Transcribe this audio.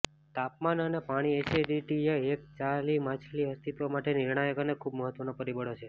તાપમાન અને પાણી એસિડિટીએ એક ચાલી માછલી અસ્તિત્વ માટે નિર્ણાયક અને ખૂબ મહત્વના પરિબળો છે